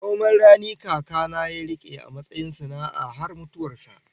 Noman rani kaka na ya rike a matsayin sana'a har mutuwar sa